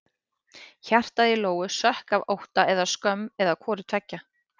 Hjartað í Lóu sökk af ótta eða skömm eða hvoru tveggja.